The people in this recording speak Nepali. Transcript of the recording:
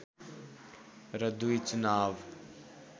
र दुई चुनाव